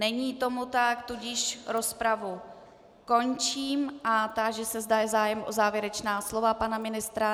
Není tomu tak, tudíž rozpravu končím a táži se, zda je zájem o závěrečná slova pana ministra.